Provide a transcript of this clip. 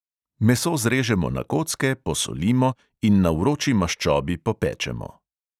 Meso zrežemo na kocke, posolimo in na vroči maščobi popečemo.